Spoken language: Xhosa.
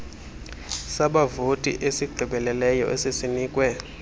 sabavoti esigqibeleleyo esisinikwe